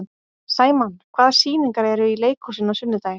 Sæmann, hvaða sýningar eru í leikhúsinu á sunnudaginn?